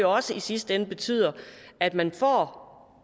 også i sidste ende betyder at man får